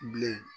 Bilen